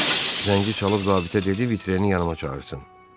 Zəngi çalıb zabitə dedi vitreni yanıma çağırsın.